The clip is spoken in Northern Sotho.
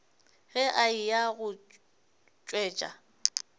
ge a eya go tšwetša